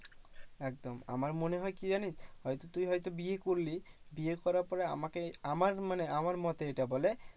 একদম আমার মনে হয় কি জানিস? হয়তো তুই হয়তো বিয়ে করলি, বিয়ে করার পরে আমাকে, আমার মানে আমার মতে এটা বলে